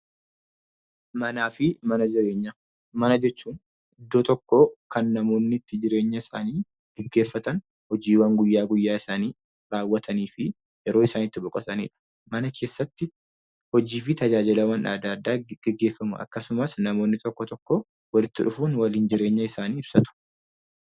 Manaa fi mana jireenyaa. Mana jechuun iddoo tokkoo kan namoonni itti jireenyasaanii geggeeffatan, hojiiwwan guyyaa guyyaasaanii raawwataniifi yeroo isaan itti boqotanidha. Mana keessatti hojii fi tajaajilawwan adda addaa geggeeffamu akkasumas namoonni tokko tokko walitti dhufuun waliin jireenya isaanii ibsatu.